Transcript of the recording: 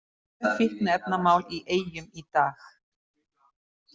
Tvö fíkniefnamál í Eyjum í dag